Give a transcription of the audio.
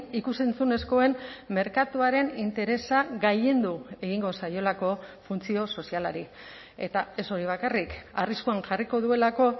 ikus entzunezkoen merkatuaren interesa gailendu egingo zaiolako funtzio sozialari eta ez hori bakarrik arriskuan jarriko duelako